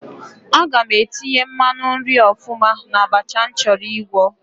Aga m etinye mmanụ nri ọfụma n'abacha m chọrọ ịgwọ.